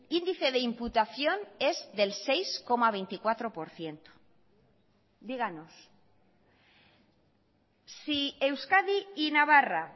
índice de imputación es del seis coma veinticuatro por ciento díganos si euskadi y navarra